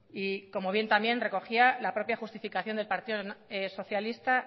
y como bien también recogía la propia justificación del partido socialista